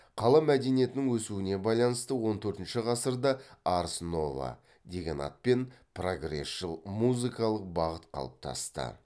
қала мәдениетінің өсуіне байланысты он төртінші ғасырда арс нова деген атпен прогресшіл музыкалық бағыт қалыптасты